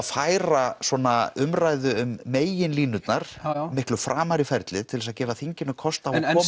færa svona umræðu um meginlínurnar miklu framar í ferlið til þess að gefa þinginu kost á